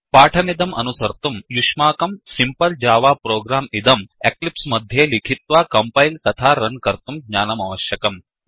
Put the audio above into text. पाठमिदम् अनुसर्तुं युष्माकं simple Java programसिम्पल् जावा प्रोग्राम् इदं एक्लिप्स् मध्ये लिखित्वा कम्पैल् तथा रन् कर्तुं ज्ञानमवश्यकम्